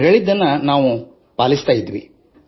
ಅವರು ಹೇಳುವುದನ್ನು ನಾವು ಪಾಲಿಸುತ್ತಿದ್ದೆವು